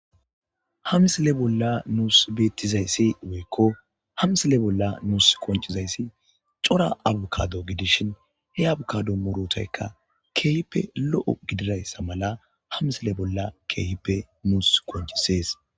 Ha msile bolla nuus beettizayssi woykko hamsile bolla nuus qoncizayssi cora abukado gidishin he abukado murotaykka keehippe lo'o gididayssa mala hamsile bolla keehippe nuus qoncisees